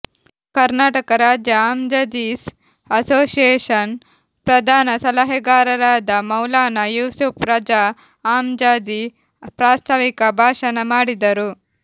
ಕರ್ನಾಟಕ ರಾಜ್ಯ ಅಮ್ಜದೀಸ್ ಅಸೋಸಿಯೇಶನ್ ಪ್ರಧಾನ ಸಲಹೆಗಾರರಾದ ಮೌಲಾನಾ ಯೂಸುಫ್ ರಝಾ ಅಮ್ಜದಿ ಪ್ರಾಸ್ತಾವಿಕ ಭಾಷಣ ಮಾಡಿದರು